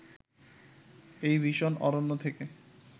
এ ভীষণ অরণ্য থেকে